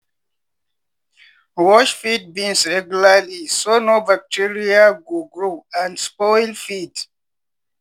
wash feed bins regularly so no bacteria go grow and spoil feed.